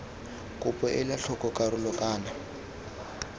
kopo ela tlhoko karolo kana